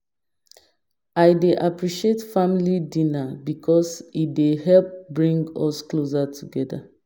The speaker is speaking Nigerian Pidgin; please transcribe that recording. I dey appreciate family dinner because e dey help bring us closer together.